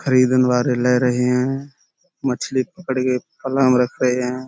खरीदन वारे लै रहे हैं। मछली पकड़ के में रख रहे हैं।